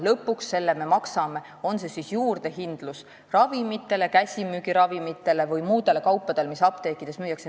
Lõpuks me maksame selle kinni, on see siis juurdehindlus apteekides müüdavatele ravimitele, käsimüügiravimitele või muudele kaupadele.